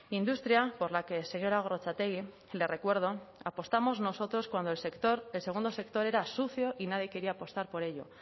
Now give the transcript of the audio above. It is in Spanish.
industria por la que señora gorrotxategi le recuerdo apostamos nosotros cuando el segundo sector era sucio y nadie quería apostar por ello